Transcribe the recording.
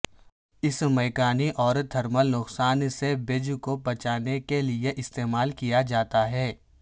اس میکانی اور تھرمل نقصان سے بیج کو بچانے کے لئے استعمال کیا جاتا ہے